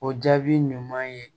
O jaabi ɲuman ye